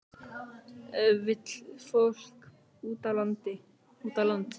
Vill fólk út á land